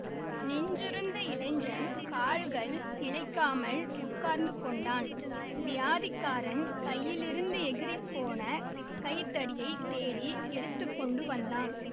நின்றிருந்த இளைஞன் கால்கள் நிலைக்காமல் உட்கார்ந்துக்கொண்டான் வியாதிக்காரன் கையிலிருந்து எகிறிப் போன கைத்தடியைத் தேடி எடுத்து கொண்டு வந்தான்